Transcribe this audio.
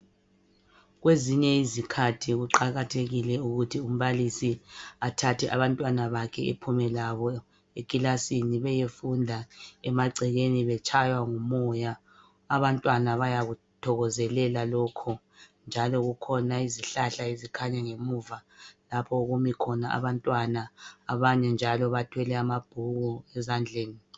Kwezinye izikhathi kuqakathekile ukuthi umbalisi athathe abantwana bakhe ephume labo ekilasini beyefunda emagcekeni betshaywa ngumoya. Abantwana bayakuthokezele lokho njalo kukhona izihlahla ezikhanya ngemuva lapho okumi khona abantwana. Abanye njalo bathwele amabhuku ezandleni.